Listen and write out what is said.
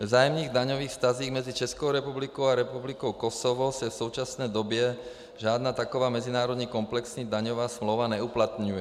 Ve vzájemných daňových vztazích mezi Českou republikou a Republikou Kosovo se v současné době žádná taková mezinárodní komplexní daňová smlouva neuplatňuje.